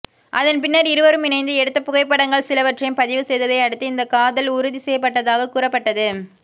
அதன் பின்னர் இருவரும் இணைந்து எடுத்த புகைப்படங்கள் சிலவற்றையும் பதிவு செய்ததை அடுத்து இந்த காதல் உறுதி செய்யப்பட்டதாக கூறப்பட்டது